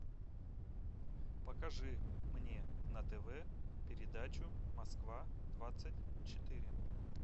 покажи мне на тв передачу москва двадцать четыре